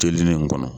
Teli ne nin kɔnɔ